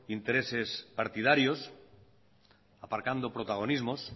intereses partidarios aparcando protagonismos